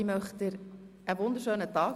Ich wünsche ihr einen wunderschönen Tag!